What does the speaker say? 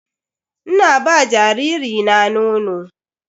Ina ba jariri na nono.